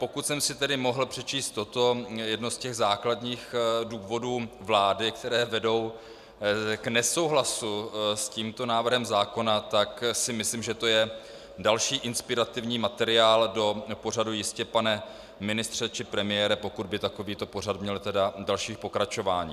Pokud jsem si tedy mohl přečíst toto jedno z těch základních důvodů vlády, které vedou k nesouhlasu s tímto návrhem zákona, tak si myslím, že to je další inspirativní materiál do pořadu Jistě, pane ministře, či premiére, pokud by takovýto pořad měl tedy další pokračování.